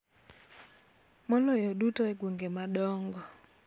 Maloyo duto e gwenge madongo.